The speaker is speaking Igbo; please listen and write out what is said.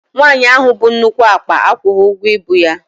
Nwaanyi ahụ bu nnukwu akpa akwụghi ụgwọ ibu ya.